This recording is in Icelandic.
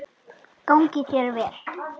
Gangi þér vel!